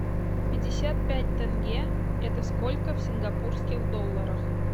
пятьдесят пять тенге это сколько в сингапурских долларах